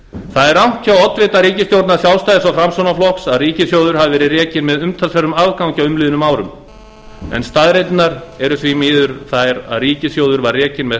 það er rangt hjá oddvita ríkisstjórnar sjálfstæðis og framsóknarflokks að ríkissjóður hafi verið rekinn með umtalsverðum afgangi á liðnum árum en staðreyndirnar eru því miður þær að ríkissjóður var rekinn með